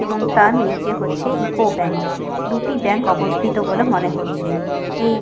এবং তার নিচে হচ্ছে ইকো ব্যাঙ্ক । দুটি ব্যাঙ্ক অবস্থিত বলে মনে হচ্ছে। এই --